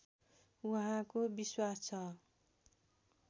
उहाँको विश्वास छ